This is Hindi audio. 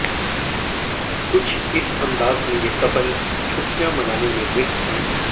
कुछ इस अंदाज में ये कपल छुट्टियां मनाने में व्यस्त हैं